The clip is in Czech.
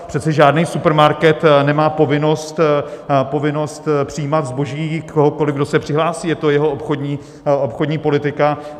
Přece žádný supermarket nemá povinnost přijímat zboží kohokoli, kdo se přihlásí, je to jeho obchodní politika.